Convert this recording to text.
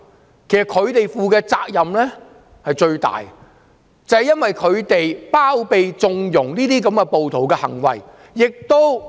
事實上，他們應該負上最大的責任，因為他們包疪、縱容暴徒的行為。